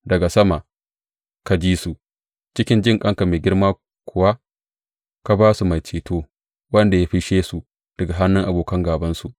Daga sama ka ji su, cikin jinƙanka mai girma kuwa ka ba su mai ceto, wanda ya fisshe su daga hannun abokan gābansu.